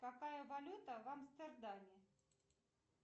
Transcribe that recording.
какая валюта в амстердаме